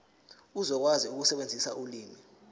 uzokwazi ukusebenzisa ulimi